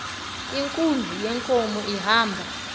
inkunzi yenkomo ihamba